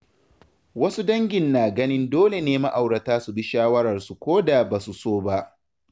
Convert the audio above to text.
Wasu dangin na ganin dole ne ma’aurata su bi shawararsu ko da ba su so ba.